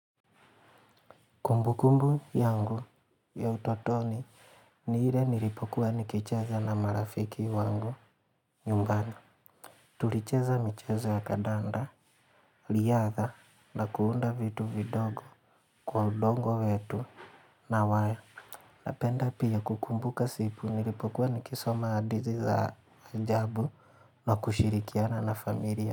Kumbu kumbu yangu ya utotoni ni ile nilipokuwa nikicheza na marafiki wangu nyumbani. Tulicheza michazo ya kadanda, riyadha na kuunda vitu vidogo kwa udongo wetu na waya. Napenda pia kukumbuka siku nilipokuwa nikisoma hadithi za ajabu na kushirikiana na familia.